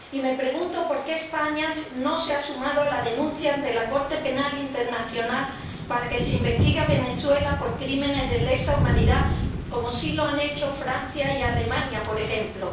Y me pregunto por qué España no se ha sumado a la denuncia ante la Corte Penal Internacional para que se investigue a Venezuela por crímenes de lesa humanidad como sí lo han hecho Francia y Alemania, por ejemplo.